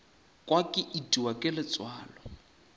kwa ke itiwa ke letswalo